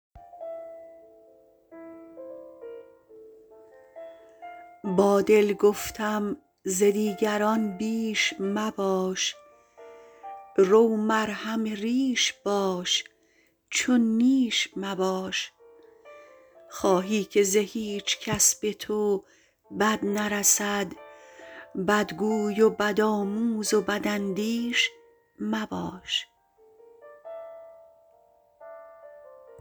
با دل گفتم ز دیگران بیش مباش رو مرهم ریش باش چون نیش مباش خواهی که ز هیچکس به تو بد نرسد بدگوی و بدآموز و بداندیش مباش